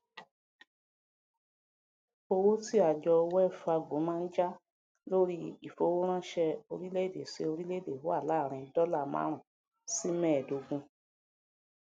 owó ti àjọ well fargo ma ń já lóríí ìfowó ránṣẹ oríléèdè sí oríléèdè wà láàrin dọlà márùnún sí mẹẹdógún